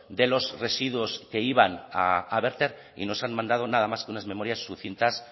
de los residuos que iban a verter y nos han mandado nada más con unas memorias sucintas